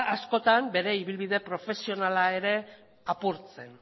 askotan bere ibilbide profesionala ere apurtzen